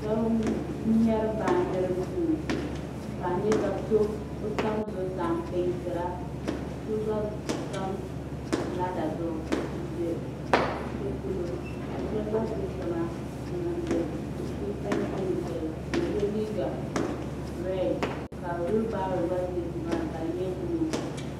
Shabi n mɛri baan jiri duu, ka a nya ka so kaɔ tam zuɣusaa n pɛɛn tira. ka so gba tam lader zuɣu n be shɛli pɔlɔ ka shab gba ʒɛ tiŋa n niŋdi defirand ting shɛli ka ɔye liiga read, ka hulubaaro gba ni maani ka di nyɛ blue